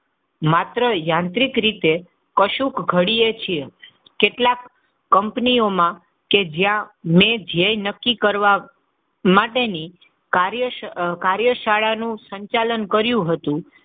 માત્ર યાંત્રિક રીતે કશુક ઘડીએ છે કેટલાક કંપનીઓમાં એ જ્યાં ધ્યેય નક્કી કરવા માટે કાર્ય શાળાનું સંચાલન કર્યું હતું.